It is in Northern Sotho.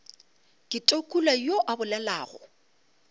ke tukula yo a bolelago